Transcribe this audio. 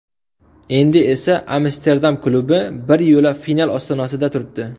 Endi esa Amsterdam klubi bir yo‘la final ostonasida turibdi.